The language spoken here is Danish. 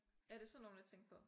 Ja det sådan nogle jeg tænkte på